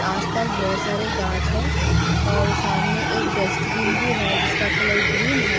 आस पास बहुत सारे गाछ है और सामने एक डस्टबिन भी है जिसका कलर ग्रीन है।